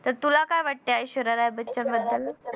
तर तुला काय वाटतंय ऐश्वर्या राय बच्चन बद्दल